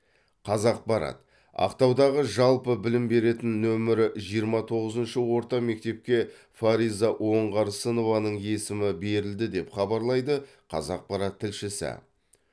қазақпарат ақтаудағы жалпы білім беретін нөмірі жиырма тоғызыншы орта мектепке фариза оңғарсынованың есімі берілді деп хабарлайды қазақпарат тілшісі